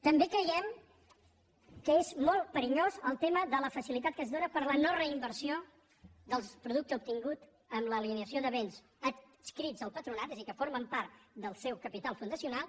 també creiem que és molt perillós el tema de la fa·cilitat que es dóna per a la no·reinversió del producte obtingut amb l’alienació de béns adscrits al patronat és a dir que formen part del seu capital fundacional